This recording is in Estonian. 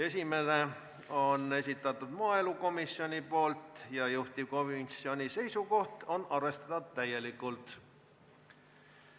Esimene on maaelukomisjoni esitatud, juhtivkomisjoni seisukoht on arvestada seda täielikult.